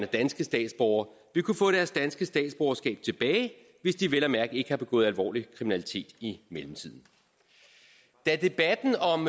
danske statsborgere vil kunne få deres danske statsborgerskab tilbage hvis de vel at mærke ikke har begået alvorlig kriminalitet i mellemtiden da debatten om